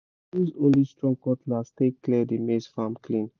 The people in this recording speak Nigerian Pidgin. use only strong cutlass take clear the maize farm clean